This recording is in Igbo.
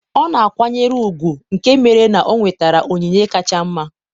ọ na-akwanyere ùgwù nke mere na o nwetara onyinye kacha mma.